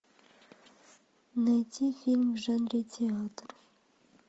найти фильм в жанре театр